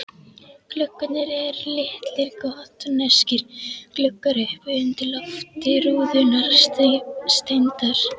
Gluggarnir eru litlir gotneskir gluggar uppi undir lofti rúðurnar steindar.